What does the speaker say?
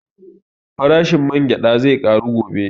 Farashin man gyaɗa zai ƙaru gobe